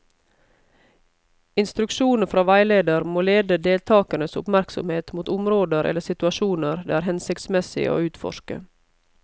Instruksjonene fra veileder må lede deltakernes oppmerksomhet mot områder eller situasjoner det er hensiktsmessig å utforske.